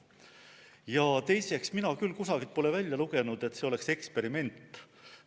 Ja teiseks, mina küll kusagilt pole välja lugenud, et see oleks eksperiment.